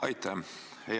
Aitäh!